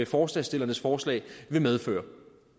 forslagsstillernes forslag vil medføre